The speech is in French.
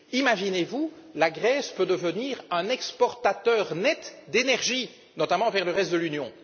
Imaginez vous la Grèce pourrait devenir un exportateur net d'énergie, notamment vers le reste de l'Union.